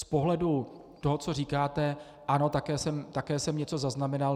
Z pohledu toho, co říkáte - ano, také jsem něco zaznamenal.